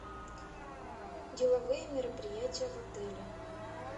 деловые мероприятия в отеле